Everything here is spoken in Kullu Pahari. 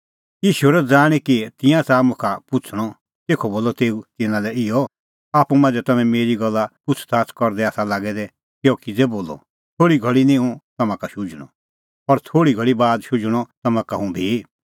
ईशू हेरअ ज़ाणीं कि तिंयां च़ाहा मुखा पुछ़णअ तेखअ बोलअ तेऊ तिन्नां लै इहअ आप्पू मांझ़ै तम्हैं मेरी एसा गल्ला पुछ़ज़ाच़ करदै आसा लागै दै कि अह किज़ै बोलअ थोल़ी घल़ी निं हुंह तम्हां का शुझणअ और थोल़ी घल़ी बाद शुझणअ तम्हां का हुंह भी